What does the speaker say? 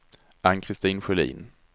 Ann-Christin Sjölin